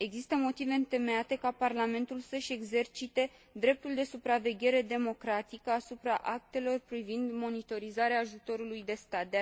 Există motive întemeiate ca Parlamentul să își exercite dreptul de supraveghere democratică asupra actelor privind monitorizarea ajutoarelor de stat.